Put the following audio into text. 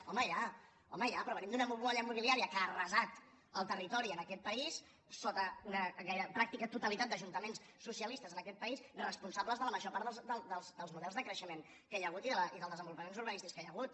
home ja però venim d’una bombolla immobiliària que ha arrasat el territori en aquest país sota una pràctica totalitat d’ajuntament socialistes en aquest país responsables de la major part dels models de creixement que hi ha hagut i dels desenvolupaments urbanístics que hi ha hagut